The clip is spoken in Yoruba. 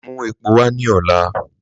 Mú èpò wà ní òlá.